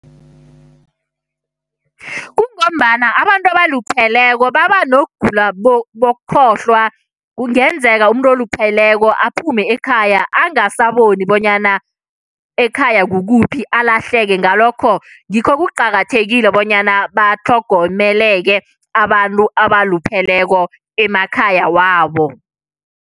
Kungombana abantu abalupheleko babanokugula bokukhohlwa. Kungenzeka umuntu olupheleko aphume ekhaya angasaboni bonyana ekhaya kukuphi, alahleke. Ngalokho ngikho kuqakathekile bonyana batlhogomeleke abantu abalupheleko emakhaya wabo.